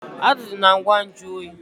Azụ dị na ngwa nju oyi